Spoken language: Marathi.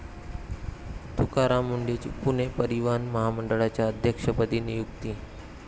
तुकाराम मुंढेंची पुणे परिवहन मंडळाच्या अध्यक्षपदी नियुक्ती